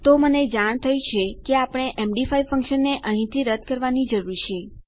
તો મને જાણ થઇ કે આપણે એમડી5 ફંક્શનને અહીંથી રદ કરવાની જરૂર છે